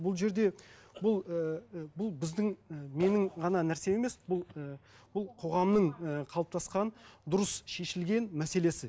бұл жерде бұл ііі бұл біздің і менің ғана нәрсем емес бұл і бұл қоғамның і қалыптасқан дұрыс шешілген мәселесі